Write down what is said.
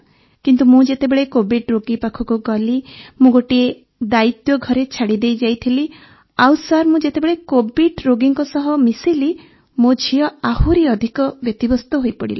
କିନ୍ତୁ ମୁଁ ଯେତେବେଳେ କୋଭିଡ୍ ରୋଗୀ ପାଖକୁ ଗଲି ମୁଁ ଗୋଟିଏ ଦାୟିତ୍ୱ ଘରେ ଛାଡ଼ିଦେଇ ଯାଇଥିଲି ଆଉ ସାର୍ ମୁଁ ଯେତେବେଳେ କୋଭିଡ୍ରୋଗୀଙ୍କ ସହ ମିଶିଲି ମୋ ଝିଅ ଆହୁରି ଅଧିକ ବ୍ୟତିବ୍ୟସ୍ତ ହୋଇପଡ଼ିଲା